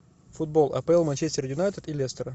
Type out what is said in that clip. футбол апл манчестер юнайтед и лестер